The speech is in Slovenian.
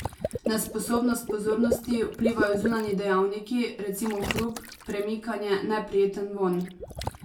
Na sposobnost pozornosti vplivajo zunanji dejavniki, recimo hrup, premikanje, neprijeten vonj.